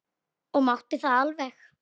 Og mátti það alveg.